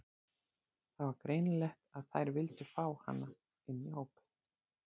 Það var greinilegt að þær vildu fá hana inn í hópinn.